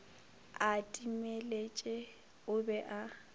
a timeletše o be a